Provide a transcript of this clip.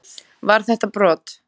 Var þetta brot?